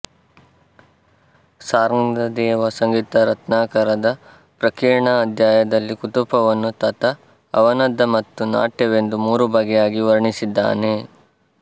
ಶಾರ್ಙ್ಗದೇವ ಸಂಗೀತರತ್ನಾಕರದ ಪ್ರಕೀರ್ಣಕಾಧ್ಯಾಯದಲ್ಲಿ ಕುತಪವನ್ನು ತತ ಅವನದ್ಧ ಮತ್ತು ನಾಟ್ಯವೆಂದು ಮೂರು ಬಗೆಯಾಗಿ ವರ್ಣಿಸಿದ್ದಾನೆ